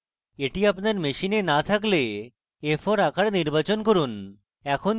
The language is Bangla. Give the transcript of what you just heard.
এটি আপনার machine না থাকলে a4 আকার নির্বাচন করুন